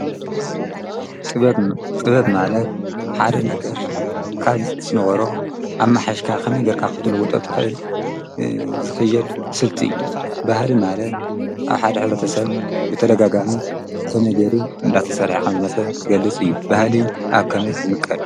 ጥበብ ማለት ሓደ ነገር ካብ ዝነበሮ ኣመሓይሽካ ከመይ ጌርካ ክትልዉጦ ትክእል ዝክየድ ስልቲ እዩ። ባህሊ ማለት ኣብ ሓደ ሕብረተሰብ ብተደጋጋሚ ከምይ ጌሩ እናተሰርሐ ከምዝመፅ ዝገልፅ እዩ። ባህሊ ኣብ ከመይ ይምቀል?